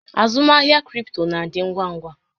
Azụmahịa cripto na-adị ngwa ngwa.